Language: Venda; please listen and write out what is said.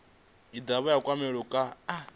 i dovha ya kwamea kha